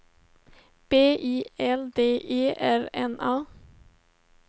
B I L D E R N A